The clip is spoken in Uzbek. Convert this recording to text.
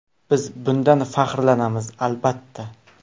Biz bundan faxrlanamiz, albatta”.